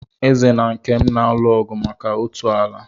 Eze na Nkem na-alụ ọgụ maka otu ala.